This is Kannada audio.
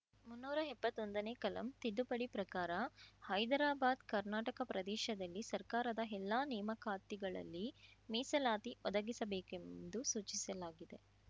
ಮುನ್ನೂರ ಎಪ್ಪತ್ತೊಂದನೇ ಕಲಂ ತಿದ್ದುಪಡಿ ಪ್ರಕಾರ ಹೈದರಾಬಾದ್ಕರ್ನಾಟಕ ಪ್ರದೇಶದಲ್ಲಿ ಸರ್ಕಾರದ ಎಲ್ಲಾ ನೇಮಕಾತಿಗಳಲ್ಲಿ ಮೀಸಲಾತಿ ಒದಗಿಸಬೇಕೆಂದು ಸೂಚಿಸಲಾಗಿದೆ